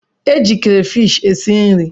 E ji krafish e si nri.